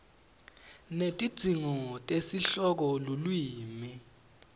netidzingo tesihloko lulwimi